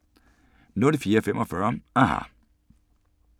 04:45: aHA!